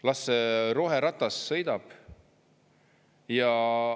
Las roheratas sõidab!